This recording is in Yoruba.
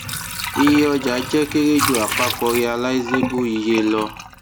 iye ọja jẹ kere ju apapọ realizable iye lọ